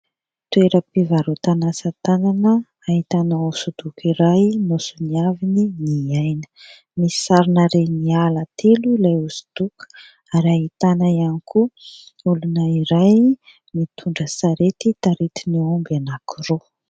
Toeram-pivaroatan'asa tanana ahitana hosodoko iray nosoniavin' i Ny Aina. Misy sarina reny ala telo ilay hosodoko ary ahitana ihany koa olona iray mitondra sarety taritin' ny omby anankiroa.